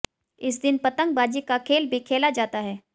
इस दिन पतंगबाजी का खेल भी खेला जाता है